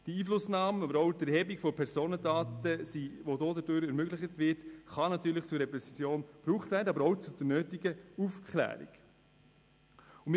Die Einflussnahme oder auch die Erhebung von Personendaten, die dadurch ermöglicht werden, kann natürlich zu Repression, aber auch zu Aufklärung beitragen.